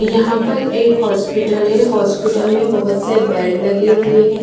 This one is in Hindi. यहा पर एक हॉस्पिटल है हॉस्पिटल में बहुत से बेड लगे हुए है।